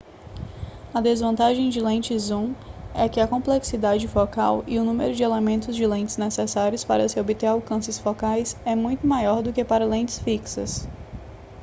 a desvantagem de lentes zoom é que a complexidade focal e o número de elementos de lentes necessários para se obter alcances focais é muito maior do que para lentes fixas